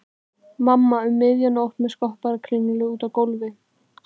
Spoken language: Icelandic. Mamma um miðja nótt með skopparakringlu úti á gólfi.